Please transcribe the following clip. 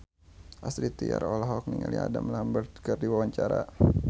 Astrid Tiar olohok ningali Adam Lambert keur diwawancara